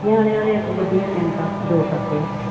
ਨਿਆਣੇ ਉਹਦੇ ਇੱਕ ਗੁੱਡੀ ਆ ਤਿੰਨ ਕਾਕੇ ਅਹ ਦੋ ਕਾਕੇ ਆ।